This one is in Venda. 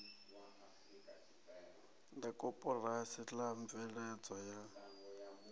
la koporasi la mveledzo ya